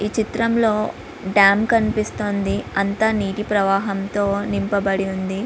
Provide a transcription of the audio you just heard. ఈ చిత్రంలో డ్యామ్ కనిపిస్తోంది అంతా నీటి ప్రవాహంతో నింపబడి ఉంది.